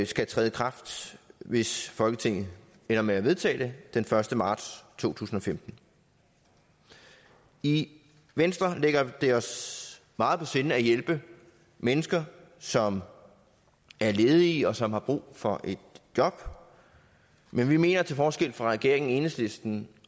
skal træde i kraft hvis folketinget ender med at vedtage det den første marts to tusind og femten i venstre ligger det os meget på sinde at hjælpe mennesker som er ledige og som har brug for et job men vi mener til forskel fra regeringen enhedslisten